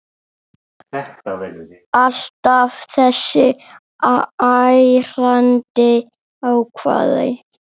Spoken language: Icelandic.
Alltaf þessi ærandi hávaði.